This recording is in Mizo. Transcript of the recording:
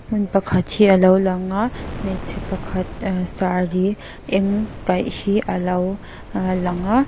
hmun pakhat hi a lo langa hmeichhe pakhat ahh saree eng kaih hi a lo lang a.